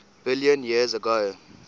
billion years ago